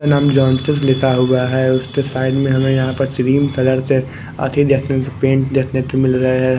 नाम जॉनसन्स लिखा हुआ है उसके साइड में हमें यहाँ पर देखने को मिल रहा है।